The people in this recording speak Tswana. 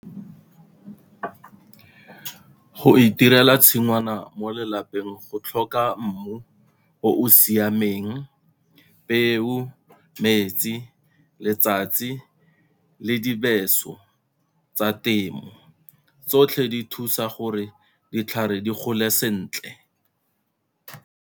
Go itirela tshingwana mo lelapeng go tlhoka mmu o o siameng, peo, metsi, letsatsi le dibeso tsa temo tsotlhe di thusa gore ditlhare di gole sentle.